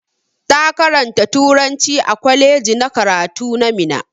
Ta karanta turanci a kwaleji na karatu na Minna.